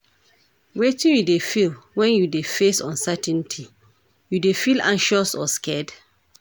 Wetin you dey feel when you dey face uncertainty, you dey feel anxious or scared?